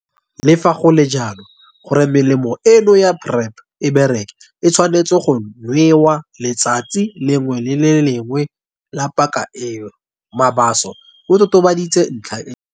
"Le fa go le jalo, gore melemo eno ya PrEP e bereke, e tshwanetswe go nwewa letsatsi le lengwe le le lengwe la paka eo," Mabaso o totobaditse ntlha eo.